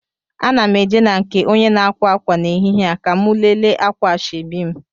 Ana m eje na nke onye na-akwa akwa n'ehihie a ka mụ lele akwa ashebi m